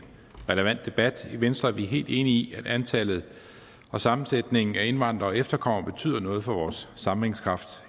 relevant debat i venstre er vi helt enige i at antallet og sammensætningen af indvandrere og efterkommere betyder noget for vores sammenhængskraft